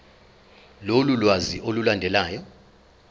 lolu lwazi olulandelayo